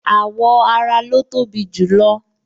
Awọ ara lo tobi jù lo